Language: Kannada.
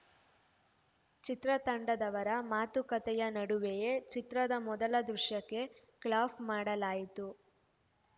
ಚಿತ್ರತಂಡದವರ ಮಾತುಕತೆಯ ನಡುವೆಯೇ ಚಿತ್ರದ ಮೊದಲ ದೃಶ್ಯಕ್ಕೆ ಕ್ಲಾಪ್‌ ಮಾಡಲಾಯಿತು